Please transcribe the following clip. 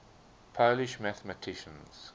polish mathematicians